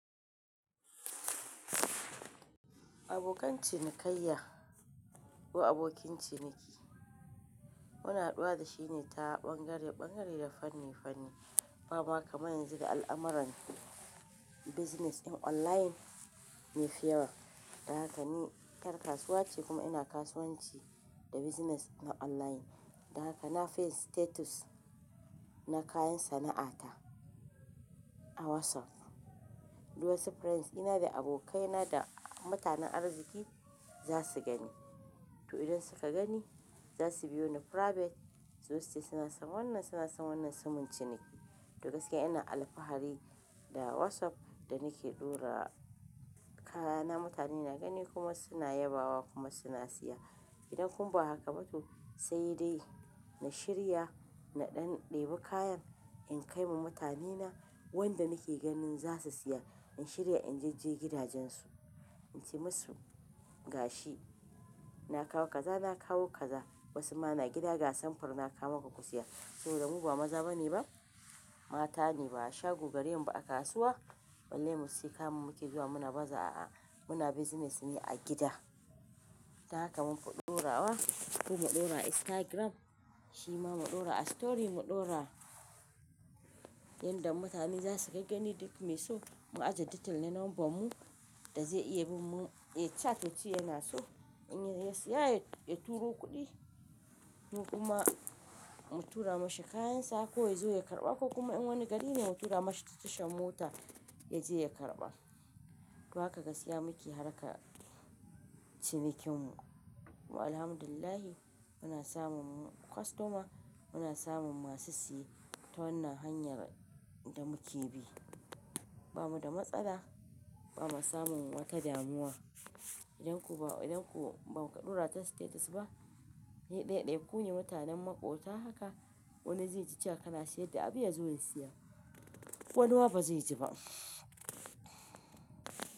Abokan cinikayya ko abokin ciniki, muna haɗuwa da shi ne ta ɓangare-ɓangare da fanni-fanni. Ba ma kamar yanzu da al'amuran business ɗin online yafi yawa. Dan haka ni yar kasuwa ce kuma ina kasuwanci da business na online. Da haka na fiyin status na kayan sana'ata a WhatsApp. Duk wasu friends dina da abokaina da mutanen arziki za su gani. To idan suka gani, za su biyo ni private su zo suce suna san wannan, suna san wannan sumunciniki. To gaskiya ina alfahari da WhatsApp da nake ɗora kayana mutane na gani kuma suna yabawa kuma suna siya. Idan kuma ba haka ba to sai dai na shirya, na ɗan ɗebi kayan in kai ma mutanena wanda nake ganin za su siya. In shirya in jejje gidajensu, in ce masu, "Ga shi, na kawo kaza, na kawo kaza." Wasu ma na gida, "Ga samfur na kawo maka ku siya." saboda mu ba maza ba ne ba, mata ne ba a shago gare mu ba a kasuwa balle mu sai ka muke zuwa muna baza a muna business ne a gida. Da haka mun fi ɗorawa ko mu ɗora a Instagram, shi ma mu ɗora a story mu ɗora yanda mutane za su kai gaggani duk mai so mu ajiye detail na number mu da zai iya bin mu. Yai chat yace yana so in ya siya ya turo kuɗi. Mu kuma mu tura mashi kayansa ko ya zo ya karɓa ko kuma in wani gari ne mu tura mashi ta tashan mota ya je ya karɓa. To haka gaskiya muke harka cinikin mu. Kuma alhamdulillah muna samun customer, muna samun masu siye ta wannan hanyar da muke bi. Ba mu da matsala, ba mu samu wata damuwa. Idan ko ba, idan ko ba ka ɗora ta status ba, sai ɗaiɗaikun yi mutanen maƙota haka wani zai ji cewa kana siyar da abu ya zo ya siya. Wani ma ba zai ji ba.